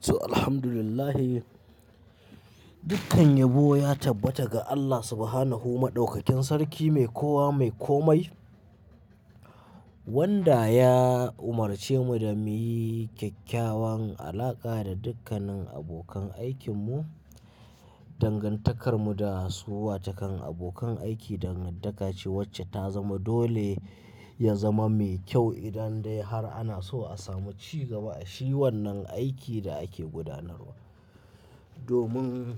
To, alhamdulillahi. Dukkan yabo ya tabbata ga Allah Subhanahu wa Ta'ala, Maɗaukakin Sarki Mai Kowa Mai Komai, wanda ya umarce mu da mu yi kyakkyawan alaƙa da dukkanin abokan aikinmu. Dangantakar mu da su, watokan abokan aiki dangantaka ce wacce ta zama dole ya zama mai kyau idan dai har ana so a samu cigaba a shi wannan aikin da ake gudanarwa. Domin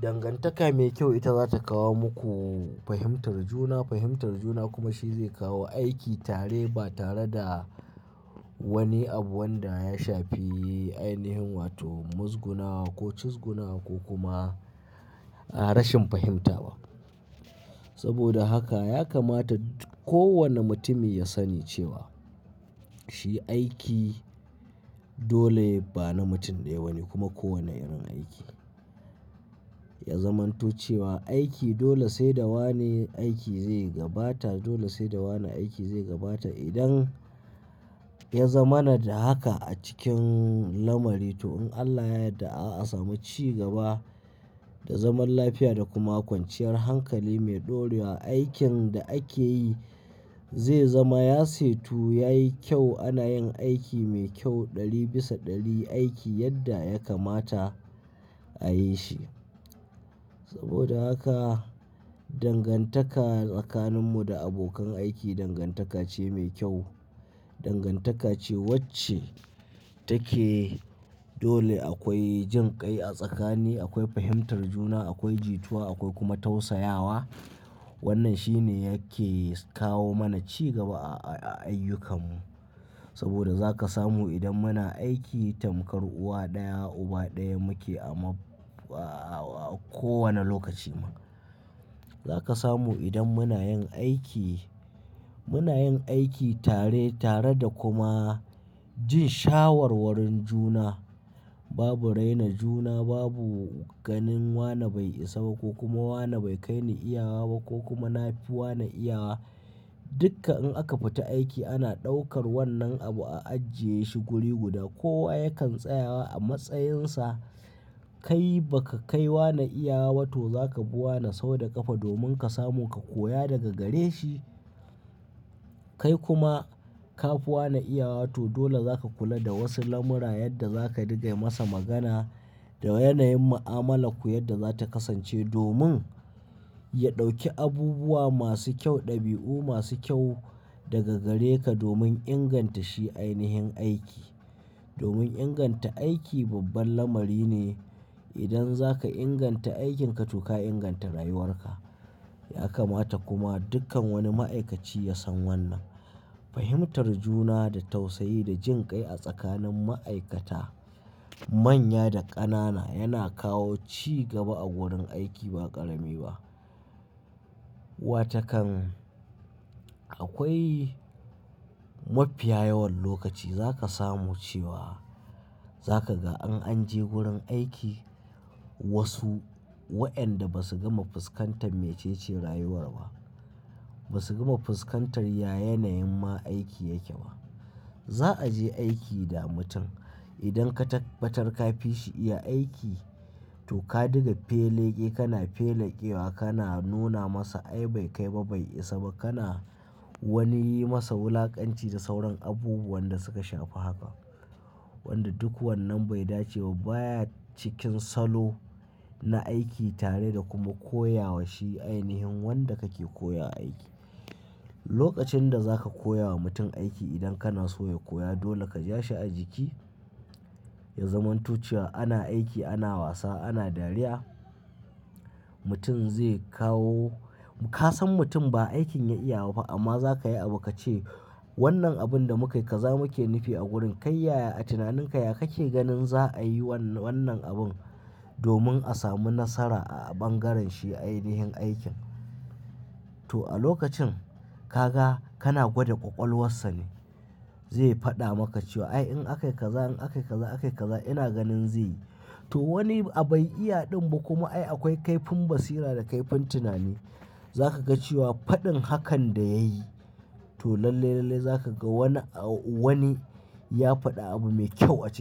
dangantaka mai kyau ita za ta kawo muku fahimtar juna, fahimtar juna kuma shi zai kawo aiki tare ba tare da wani abu wanda ya shafi ainihin, wato muzgunawa ko cizguna ko kuma rashin fahimta ba. Saboda haka ya kamata kowane mutumi ya sani cewa shi aiki dole ba na mutum ɗaya bane kuma kowane irin aiki ya zamanto cewa aiki dole sai da wane aiki zai gabata, dole sai da wane aiki zai gabata. Idan ya zama mana da haka a cikin lamari, to in Allah ya yadda a samu cigaba da zaman lafiya da kuma kwanciyar hankali mai ɗorewa, aikin da ake yi zai zama ya setu, yayi kyau. Ana yin aiki mai kyau ɗari bisa ɗari, aiki yadda ya kamata a yi shi. Saboda haka dangantaka tsakaninmu da abokan aiki dangantaka ce mai kyau. Dangantaka ce wacce take dole akwai jin kai a tsakani, akwai fahimtar juna, akwai jituwa akwai kuma tausayawa. Wannan shi ne yake kawo mana cigaba a ayyukanmu. Saboda za ka samu idan muna aiki tamkar uwa ɗaya, uba ɗaya muke a kowane lokaci ma. Za ka samu idan muna yin aiki, muna yin aiki tare tare da kuma jin shawarwarun juna. Babu raina juna, babu ganin wane bai isa ba ko kuma wane bai kai ni iyawa ba ko kuma na fi wane iyawa. Dukka in aka fita aiki ana ɗaukar wannan abu a ajjiye shi guri guda. Kowa yakan tsaya a matsayinsa. Kai baka kai wane iyawaba to zaka bi wane sau da ƙafa domin ka samu ka koya daga gare shi. Kai kuma ka fi wane iyawa to dole za ka kula da wasu lamura yadda za ka riga yi masa magana da yanayin mu'amalakku yadda za ta kasance domin ya ɗauki abubuwa masu kyau, ɗabi'u masu kyau daga gare ka domin inganta shi ainihin aiki. Domin inganta aiki babban lamari ne. Idan za ka inganta aikin ka to ka inganta rayuwar ka. Ya kamata kuma dukkan wani ma'aikaci ya san wannan. Fahimtar juna da tausayi da jin kai a tsakanin ma'aikata, manya da ƙanana yana kawo cigaba a wurin aiki ba ƙarami ba. Watakan akwai mafiya yawan lokaci za ka samu cewa za ka ga in an je gurin aiki wasu wa'inda basu gama fuskantar mecece rayuwar ba. Basu gama fuskantar ya yanayin ma aiki yake ba. Za a je aiki da mutum idan ka tabbatar ka fi shi iya aiki to ka diga feleƙe, kana feleƙewa, kana nuna masa ai bai kai ba bai isa ba. Kana wani yi masa wulaƙanci da sauran abubuwan da suka shafi haka. Wanda duk wannan bai dace ba, baya cikin salo na aiki tare da kuma koya wa shi ainihin wanda kake koya aiki. Lokacin da za ka koya wa mutum aiki idan kana so ya koya dole ka ja shi a jiki, ya zamanto cewa ana aiki, ana wasa, ana dariya. Mutum zai kawo-- ka san mutum ba aikin ya iyaba fa amma za ka yi abu ka ce wannan abun da muka yi kaza muke nufi a wurin. Kai yaya a tunaninka ya ka ke ganin za'a yi wannan abun domin a samu nasara a bangaren shi ainihin aikin? To a lokacin ka ga kana gwada ƙwaƙwalwarsa ne. Zai faɗa maka cewa ai in aka yi kaza in aka yi kaza aka yi kaza ina ganin zai yi. To wani abu ai iya ɗin ba kuma ai akwai kaifin basira da kaifin tunani. Za ka ga cewa faɗin hakan da ya yi to lalle lalle za ka ga wani a wani ya faɗa abu mai kyau a cikin.